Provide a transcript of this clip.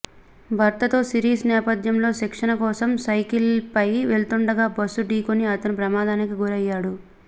భారత్తో సిరీస్ నేపథ్యంలో శిక్షణ కోసం సైకిల్పై వెళ్తుండగా బస్సు ఢీకొని అతను ప్రమాదానికి గురయ్యాడు